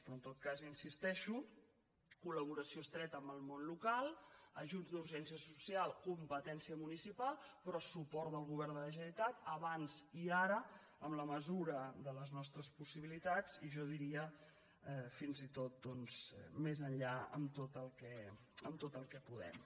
però en tot cas hi insisteixo col·laboració estreta amb el món local ajuts d’urgència social competència municipal però suport del govern de la generalitat abans i ara en la mesura de les nostres possibilitats i jo diria fins i tot doncs més enllà en tot el que podem